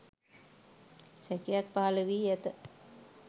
සැකයක් පහළ වී ඇත